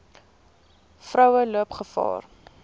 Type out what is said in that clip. vroue loop gevaar